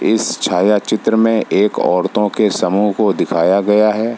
इस छाया चित्र में एक औरतों के समूह को दिखाया गया है।